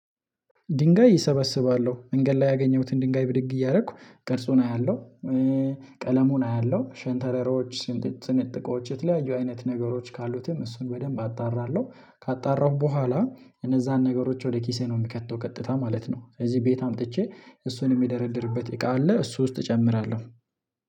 ድንጋይ እሰበስባለሁ መንገድ ላይ ያገኘሁትን ድንጋይ ብድግ እያደረኩ ቅርጹን አያለሁ። ቀለሙን አያለሁ ሸንተረሮች ስንጥ ስንጥቆች የተለያዩ አይነት ነገሮች ካሉትም እሱን በደንብ አጣራለሁ ካጣራሁ በኋላ እነዛን ነገሮች ወደ ኪሴ ነው የምከተው ቀጥታ ማለት ነው። ስለዚህ ቤት አምጥቼ እሱን የሚደረድርበት እቃ አለ እሱ ውስጥ እጨምራለሁ